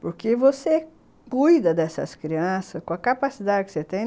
Porque você cuida dessas crianças com a capacidade que você tem.